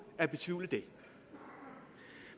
at betvivle det